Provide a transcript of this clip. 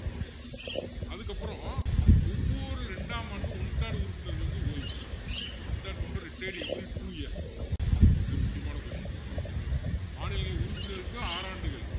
அதுக்கப்பறம் ஒவ்வொரு ரெண்டாம் ஆண்டும் one third உறுப்பினர்கள் வந்து ஓய்வு one third member retired every two year மிக முக்கியமான question மாநிலங்களின் உறுப்பினர்களுக்கு ஆறு ஆண்டுகள்